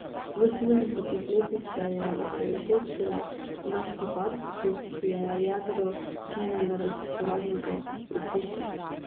V sedemdesetih letih se je osredotočila na kiparstvo, ki je jedro njenega raziskovalnega opusa.